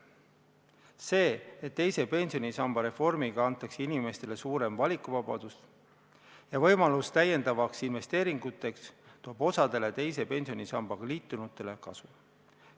See, et teise pensionisamba reformiga antakse inimestele suurem valikuvabadus ja võimalus täiendavateks investeeringuteks, toob osale teise pensionisambaga liitunutele kasu.